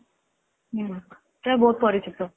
ହୁଁ ସେଇଟା ବହୁତ ପରିଚିତ